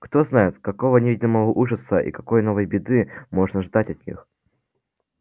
кто знает какого неведомого ужаса и какой новой беды можно ждать от них